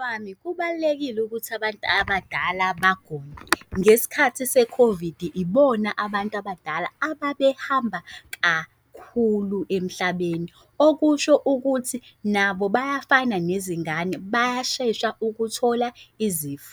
Wami kubalulekile ukuthi abantu abadala bagome ngesikhathi se-COVID ibona abantu abadala ababehamba kakhulu emhlabeni okusho ukuthi nabo bayafana nezingane bayashesha ukuthola izifo.